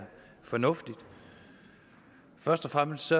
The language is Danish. fornuftigt først og fremmest